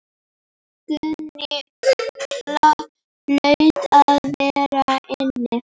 Guðni hlaut að vera inni.